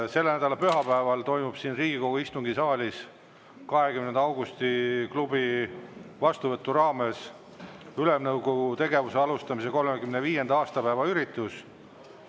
Selle nädala pühapäeval toimub siin Riigikogu istungisaalis 20. Augusti Klubi vastuvõtu raames Ülemnõukogu tegevuse alustamise 35. aastapäeva üritus.